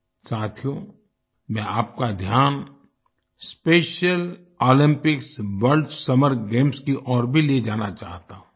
सथियो मैं आपका ध्यान Special Olympics World Summer Games की ओर भी ले जाना चाहता हूँ